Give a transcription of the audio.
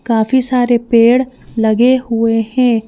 काफी सारे पेड़ लगे हुए हैं।